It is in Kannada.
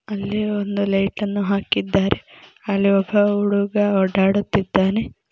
ಅಲ್ಲಿ ಒಂದು ಲೈಟನ್ನು ಹಾಕಿದ್ದಾರೆ ಅಲ್ಲಿ ಒಬ್ಬ ಹುಡುಗ ಓಡಾಡುತಿದ್ದಾನೆ.